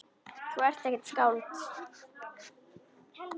Þú ert ekkert skáld.